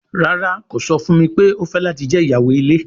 Rara, ko sọ fun mi pe o fẹ lati jẹ iyawo ile